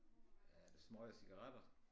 Er det smøger cigaretter